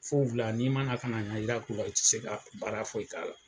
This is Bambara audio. Fon fila, n'i mana ŋaniya jira k'u la, u tɛ se ka baara foyi k'a la.